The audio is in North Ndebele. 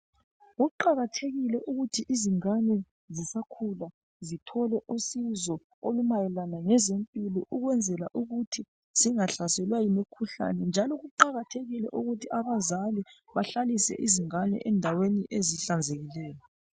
Kuqakathekile ukuthi ingane zisakhula zithole usizo olumayelana lezempilo ukuthi zangahlaselwa yimikhuhlane njalo kuqakathekile ukuthi abazali behlalise abantwana endaweni ezihlanzekileyo